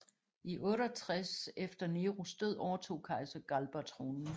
I 68 efter Neros død overtog kejser Galba tronen